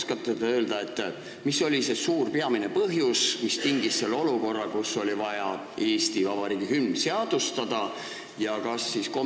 Kas te oskate öelda, mis oli see suur, peamine põhjus, mis tingis selle, et oli vaja Eesti Vabariigi hümn seadustada?